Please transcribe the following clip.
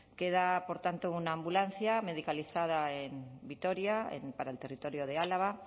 queda por tanto una ambulancia medicalizada en vitoria para el territorio de álava